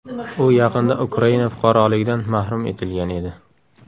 U yaqinda Ukraina fuqaroligidan mahrum etilgan edi.